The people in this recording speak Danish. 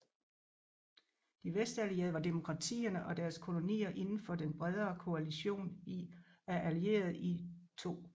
De Vestallierede var demokratierne og deres kolonier indenfor den bredere koalision af Allierede i 2